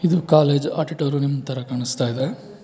ಇದು college auditorium ತರ ಕಾಣಿಸ್ತಾಯಿದೆ.